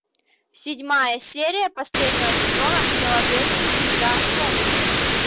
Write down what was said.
седьмая серия последнего сезона в филадельфии всегда солнечно